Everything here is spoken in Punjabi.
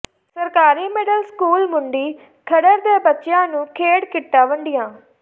ਸਰਕਾਰੀ ਮਿਡਲ ਸਕੂਲ ਮੁੰਡੀ ਖਰੜ ਦੇ ਬੱਚਿਆਂ ਨੂੰ ਖੇਡ ਕਿੱਟਾਂ ਵੰਡੀਆਂ